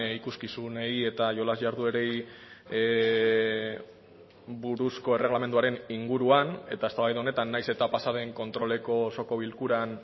ikuskizunei eta jolas jarduerei buruzko erregelamenduaren inguruan eta eztabaida honetan nahiz eta pasaden kontroleko osoko bilkuran